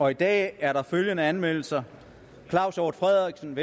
i dag er der følgende anmeldelser claus hjort frederiksen